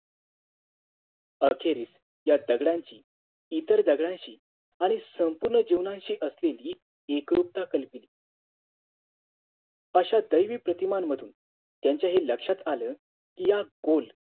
अखेरीस या दगडांची इतर दगडांशी आणि संपूर्ण जीवनाशी असलेली एकरूपता कल्पिली आश्या दैवी प्रतींमांमधून त्यांच्या हे लक्ष्यात आलं कि या गोल